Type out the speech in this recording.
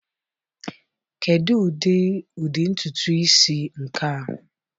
Kedu ụdị* ụdị ntutu isi nke a?